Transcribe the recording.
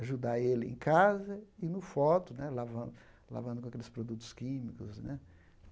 ajudar ele em casa e no foto né, lavando lavando com aqueles produtos químicos né.